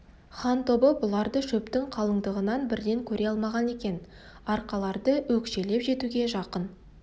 хан тобы бұларды шөптің қалыңдығынан бірден көре алмаған екен арқарларды өкшелеп жетуге жақын